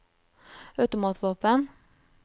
automatvåpen